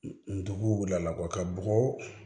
Ndugu wulila a la ka bɔgɔ